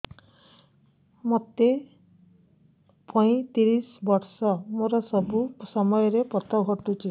ମୋତେ ପଇଂତିରିଶ ବର୍ଷ ମୋର ସବୁ ସମୟରେ ପତ ଘଟୁଛି